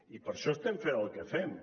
i per això estem fent el que fem